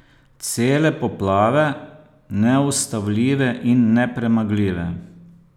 Cele poplave, Neustavljive in nepremagljive.